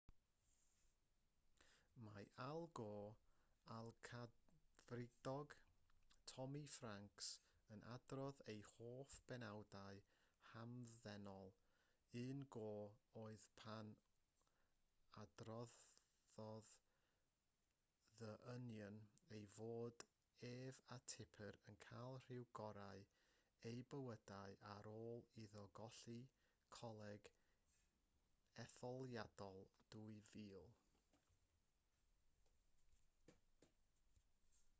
mae al gore a'r cadfridog tommy franks yn adrodd eu hoff benawdau'n hamddenol un gore oedd pan adroddodd the onion ei fod ef a tipper yn cael rhyw gorau eu bywydau ar ôl iddo golli coleg etholiadol 2000